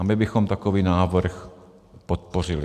A my bychom takový návrh podpořili.